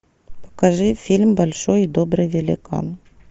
покажи фильм большой и добрый великан